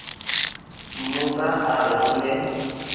mmotsa a re o ne